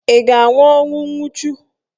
Ị ga-anwụ ọnwụ nwuchu.